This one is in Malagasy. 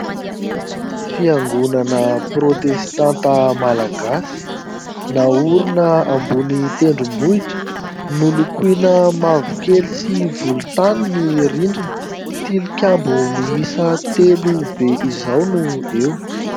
Fiangonana protestanta Malagasy ; naorina ambony tendrombohitra ; nolokoina mavokely sy volontany ny rindrina ; tilikambo miisa telo be izao no eo.